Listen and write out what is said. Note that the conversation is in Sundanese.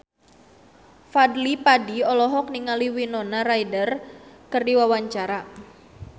Fadly Padi olohok ningali Winona Ryder keur diwawancara